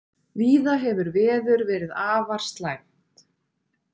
Víða hefur veður verið afar slæmt